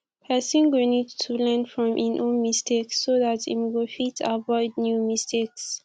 person go need to learn from im own mistakes so dat im go fit avoid new mistakes